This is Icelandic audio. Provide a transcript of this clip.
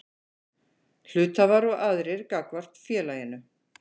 Hluthafar og aðrir gagnvart félaginu.